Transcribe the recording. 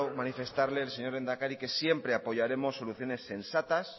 manifestarle al señor lehendakari que siempre apoyaremos soluciones sensatas